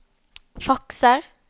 fakser